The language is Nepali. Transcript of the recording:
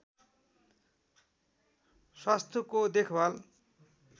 स्वास्थ्यको देखभाल